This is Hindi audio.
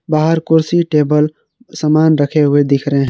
बाहर कुर्सी टेबल सामान रखे हुए दिख रहे हैं।